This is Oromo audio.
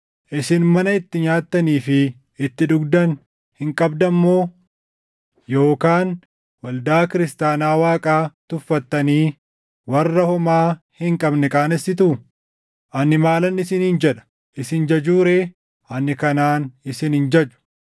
Isin mana itti nyaattanii fi itti dhugdan hin qabdan moo? Yookaan waldaa Kiristaanaa Waaqaa tuffattanii warra homaa hin qabne qaanessitu? Ani maalan isiniin jedha? Isin jajuu ree? Ani kanaan isin hin jaju!